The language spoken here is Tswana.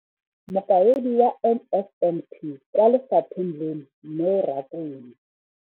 Mokaedi wa NSNP kwa lefapheng leno, Neo Rakwena.